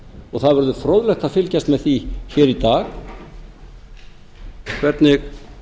og það verður fróðlegt að fylgjast með því hér í dag hvernig